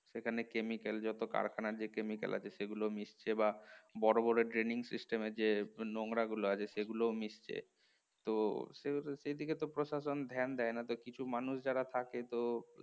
যেখানে chemical যত কারখানার যে chemical সেগুলো মিশছে বা বড় বড় draining system এ যে নোংরা গুলো আছে সেগুলোও মিশছে, তো সেভাবে সেদিকে তো প্রশাসন ধ্যান দেয় না কিছু মানুষ যারা থাকে তো